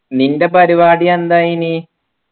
നിൻ്റെ പരിപാടി എന്തായിന്